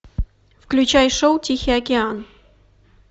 включай шоу тихий океан